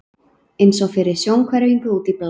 eins og fyrir sjónhverfingu, út í bláinn.